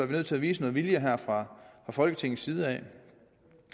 vi nødt til at vise noget vilje her fra folketingets side